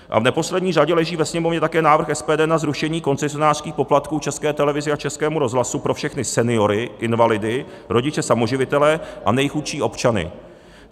A v neposlední řadě leží ve Sněmovně také návrh SPD na zrušení koncesionářských poplatků České televizi a Českému rozhlasu pro všechny seniory, invalidy, rodiče samoživitele a nejchudší občany.